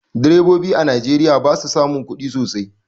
Direbobi a Najeriya ba su samun kudi sosai.